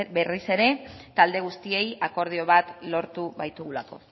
berriz ere talde guztiei akordio bat lortu baitugulako